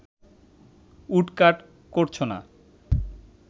woodcut করছ না